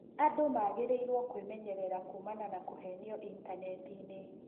Andũ magĩrĩirũo kwĩmenyerera kuumana na kũhenio intaneti-inĩ.